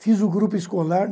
Fiz o grupo escolar.